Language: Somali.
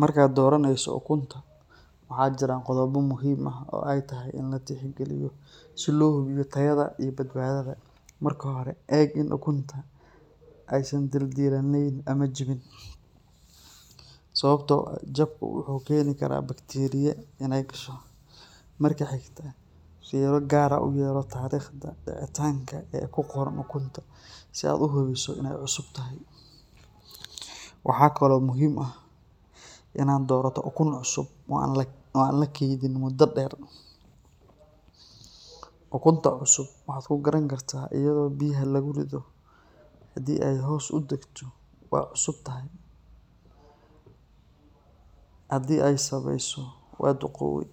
Marka doraneysa ukunta waxaa jiran qodhobo muhiim ah oo ee kamiid tahay si lo hubiyo tayadha marka hore si ee u jawin jabka wuxuu keni karaa baqti, marka xigto tariqta dicitanka kuqor ukunta si aad u hubiso, waxaa kalo muhiim ah in aad dorato ukun oo an lakenin, ukunta cusub waxaa ku garan kartaa iyadho biyaha lagu ridho hadii ee hos u dagto waa cusub tahay, hadii ee sareyso waa duqowde